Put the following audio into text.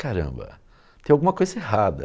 Caramba, tem alguma coisa errada.